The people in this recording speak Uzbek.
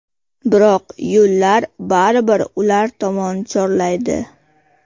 Biroq yo‘llar baribir ular tomon chorlaydi.